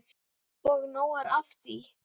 Og nóg er af því.